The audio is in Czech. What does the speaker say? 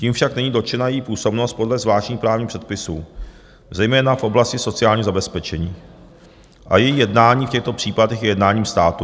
Tím však není dotčena její působnost podle zvláštních právních předpisů, zejména v oblasti sociálního zabezpečení, a její jednání v těchto případech je jednáním státu.